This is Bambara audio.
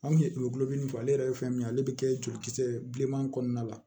Anw kun ye tulodimi ale yɛrɛ ye fɛn min ye ale bɛ kɛ jolikisɛ bileman kɔnɔna la